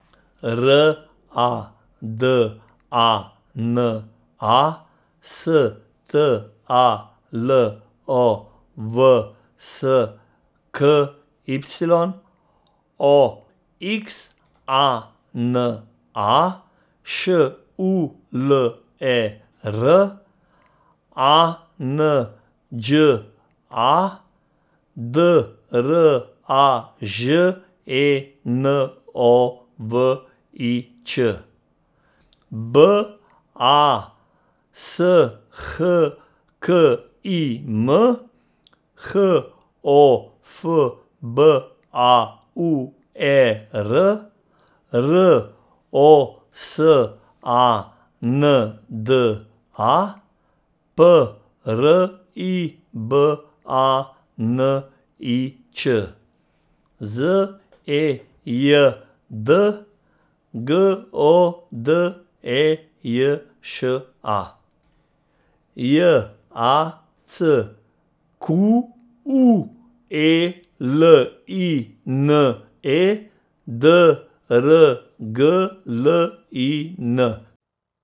R A D A N A, S T A L O W S K Y; O X A N A, Š U L E R; A N Đ A, D R A Ž E N O V I Ć; B A S H K I M, H O F B A U E R; R O S A N D A, P R I B A N I Č; Z E J D, G O D E J Š A; J A C Q U E L I N E, D R G L I N.